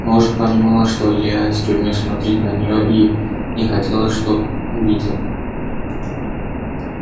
может понимала что илья из тюрьмы смотрит на нее и не хотела чтоб видел